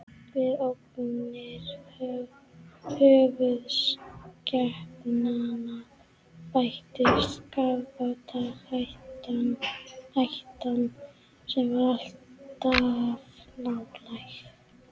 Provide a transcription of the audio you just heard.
Við ógnir höfuðskepnanna bættist kafbátahættan, sem var alltaf nálæg.